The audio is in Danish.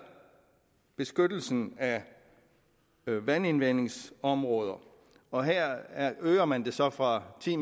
beskyttelsen af vandindvindingsområder og her øger man det så fra ti